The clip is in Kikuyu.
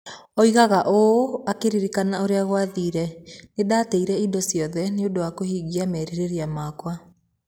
Oigaga ũũ akĩririkana ũrĩa gwathire: "Nĩ ndaateire indo ciothe nĩ ũndũ wa kũhingia merirĩria makwa".